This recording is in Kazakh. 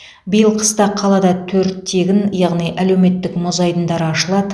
биыл қыста қалада төрт тегін яғни әлеуметтік мұз айдындары ашылады